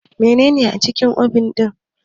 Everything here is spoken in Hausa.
Menene a cikin obin ɗin ki?